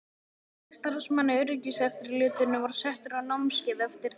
Fjöldi starfsmanna í öryggiseftirlitinu var settur á námskeið eftir þetta?